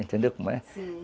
Entendeu como é? Sim